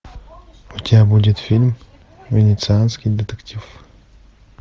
у тебя будет фильм венецианский детектив